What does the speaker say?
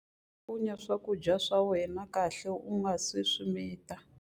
Cakunya swakudya swa wena kahle u nga si swi mita.